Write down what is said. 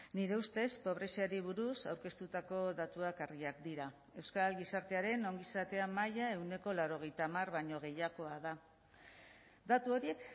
nire ustez pobreziari buruz aurkeztutako datuak argiak dira euskal gizartearen ongizatea maila ehuneko laurogeita hamar baino gehiagoa da datu horiek